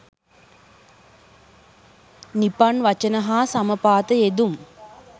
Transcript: නිපන් වචන හා සමපාත යෙදුම්